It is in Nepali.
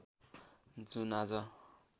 जुन आज